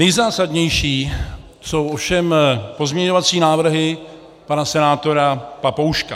Nejzásadnější jsou ovšem pozměňovací návrhy pana senátora Papouška.